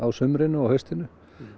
sumrinu og haustinu